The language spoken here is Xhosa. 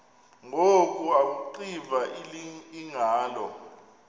ngoku akuxiva iingalo